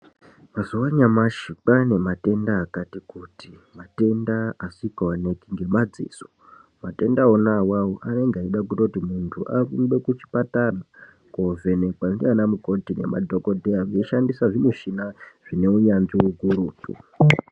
Mazuwa anyamashi kwane matenda akati kuti matenda asikaoneki ngemadziso. Matenda awawo anenge eida kutoti muntu arumbe muchipatara kovhenekwa ndiana mukoti nemadhokodheya veishandisa zvimushina zvakanasirwa ngeunyanzvi ukurutu.